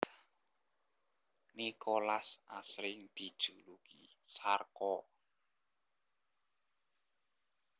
Nicolas asring dijuluki Sarko